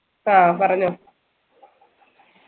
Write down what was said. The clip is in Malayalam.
ആഹ് പറഞ്ഞോ